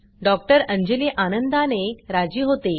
doctor Anjali आनंदाने राजी होते